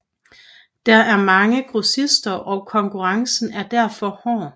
Der er mange grossister og konnkurrencen er derfor hård